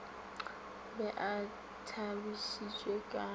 be a tšhabišitšwe ka ge